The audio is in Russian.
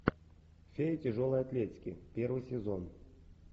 фея тяжелой атлетики первый сезон